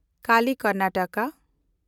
Kali - Karnataka